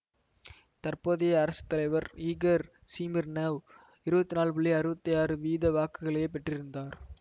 தற்போதைய அரசு தலைவர் ஈகர் சிமீர்னொவ் இருபத்தி நான்கு புள்ளி அறுபத்தி ஆறு வீத வாக்குகளையே பெற்றிருந்தார்